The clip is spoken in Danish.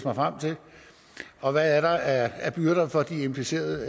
mig frem til og hvad er der af byrder for de implicerede